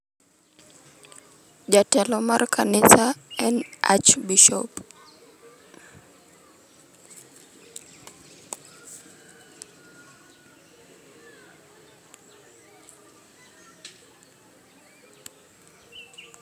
Jatelo mar kanisa[ en Archbisho